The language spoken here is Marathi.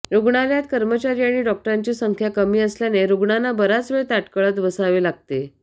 रुग्णालयात कर्मचारी आणि डॉक्टरांची संख्या कमी असल्याने रुग्णांना बराच वेळ ताटकळत बसावे लागते